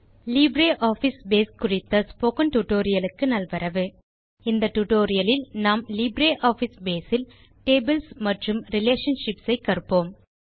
LibreOffice Base குறித்த spoken tutorial க்கு நல்வரவு இந்த டியூட்டோரியல் லில் நாம் லிப்ரியாஃபிஸ் Baseஇல் டேபிள்ஸ் மற்றும் ரிலேஷன்ஷிப்ஸ் ஐ கற்போம்